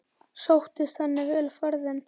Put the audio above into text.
Sóttist henni vel ferðin.